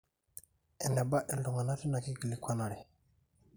eneba iltung'anak teina kikilikwanare